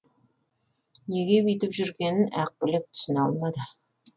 неге бүйтіп жүргенін ақбілек түсіне алмады